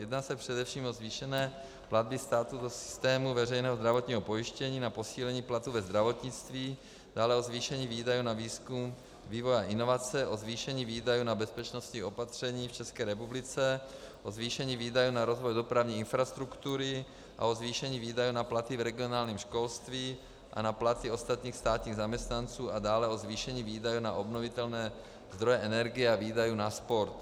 Jedná se především o zvýšení platby státu do systému veřejného zdravotního pojištění na posílení platů ve zdravotnictví, dále o zvýšení výdajů na výzkum, vývoj a inovace, o zvýšení výdajů na bezpečnostní opatření v České republice, o zvýšení výdajů na rozvoj dopravní infrastruktury a o zvýšení výdajů na platy v regionálním školství a na platy ostatních státních zaměstnanců a dále o zvýšení výdajů na obnovitelné zdroje energie a výdajů na sport.